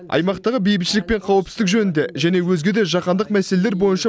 аймақтағы бейбітшілік пен қауіпсіздік жөнінде және өзге де жаһандық мәселелер бойынша